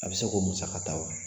A bɛ se k'o musaka ta wa